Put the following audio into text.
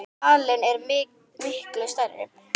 Halinn er miklu stærri.